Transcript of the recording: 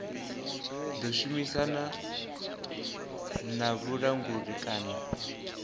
ḓo shumisana na vhulanguli kana